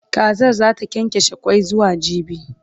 Kazar zata kyankyashe Kwan zuwa jibi